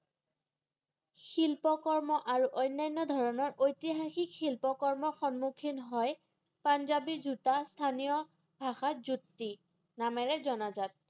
শিল্পকৰ্ম আৰু অনান্য ধৰণৰ ঐতিহাসিক শিল্পকৰ্ম সন্মুসিন হয় পাঞ্জাবী জোতা স্থানীয় ভাষাত জুত্তি নামেৰে জনাজাত